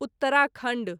Uttarakhand